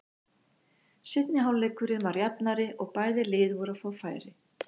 Seinni hálfleikurinn var jafnari og bæði lið voru að fá færi.